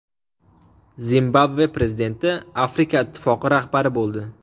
Zimbabve prezidenti Afrika ittifoqi rahbari bo‘ldi.